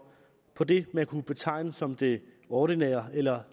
på det man kunne betegne som det ordinære eller